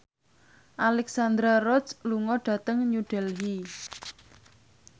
Alexandra Roach lunga dhateng New Delhi